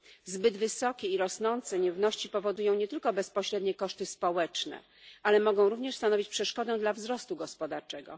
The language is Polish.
Zbyt wysokie i rosnące nierówności powodują nie tylko bezpośrednie koszty społeczne, ale mogą również stanowić przeszkodę dla wzrostu gospodarczego.